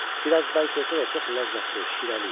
Bir az bərk olsa da, çox ləzzətli, şirəli idi.